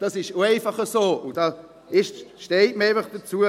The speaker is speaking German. Das ist auch einfach so, und da steht man einfach dazu.